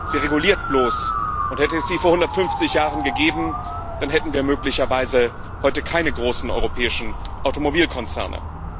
Sie reguliert bloß, und hätte es sie vor 150 Jahren gegeben, dann hätten wir möglicherweise heute keine großen europäischen Automobilkonzerne.